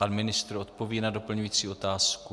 Pan ministr odpoví na doplňující otázku.